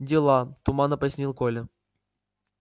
дела туманно пояснил коля